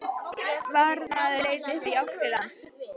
Varðmaður leit upp og í átt til hans.